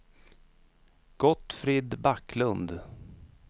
Gottfrid Backlund